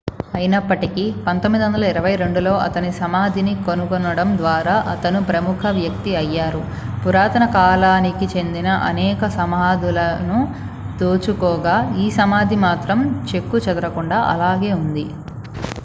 అయినప్పటికీ 1922లో అతని సమాధిని కనుగొనడం ద్వారా అతను ప్రముఖ వ్యక్తి అయ్యారు పురాతన కాలానికి చెందిన అనేక సమాధులను దోచుకోగా ఈ సమాధి మాత్రం చెక్కు చెదరకుండా అలాగే ఉంది